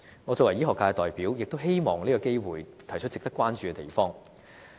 我作為醫學界的代表，亦希望藉此機會提出值得關注的地方。